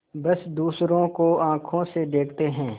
बस दूसरों को आँखों से देखते हैं